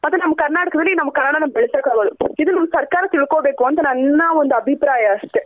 ಕರ್ನಾಟಕದಲ್ಲಿ ನಮ್ ಕನ್ನಡನ ಬೆಳ್ಸಾಕಾಗೋದು.ಇದು ನಮ್ ಸರ್ಕಾರ ತಿಳ್ಕೊನ್ಬೇಕು ಅಂತ ನನ್ನ ಒಂದ್ ಅಭಿಪ್ರಾಯ ಅಷ್ಟೆ